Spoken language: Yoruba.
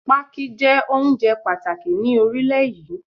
Pákí jẹ́ oúnjẹ pàtàkì ni orílẹ̀ yí.